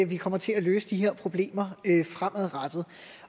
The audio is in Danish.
vi kommer til at løse de her problemer fremadrettet